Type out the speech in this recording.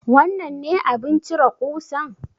Wannan ne abin cire ƙusan?